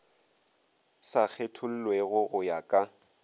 sa kgethollego go ya ka